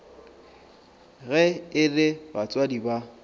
ge e le batswadi ba